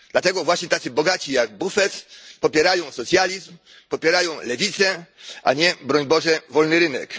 Dlatego właśnie tacy bogaci jak Buffett popierają socjalizm, popierają lewicę, a nie, broń Boże, wolny rynek.